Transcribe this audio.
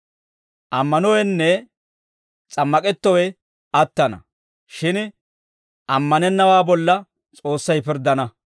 Ammanowenne s'ammak'ettowe attana; shin ammanennawaa bolla S'oossay pirddana.